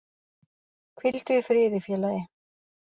Hvíldu í friði félagi